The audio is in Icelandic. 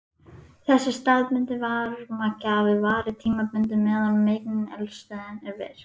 Þessi staðbundni varmagjafi varir tímabundið meðan megineldstöðin er virk.